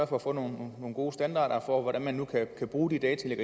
for at få nogle gode standarder for hvordan man kan bruge de data de